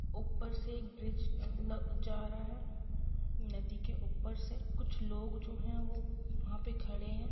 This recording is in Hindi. ऊपर से एक ब्रिज जा रहा है नदी के ऊपर से कुछ लोग जो है वो व्हा पे खड़े हैं।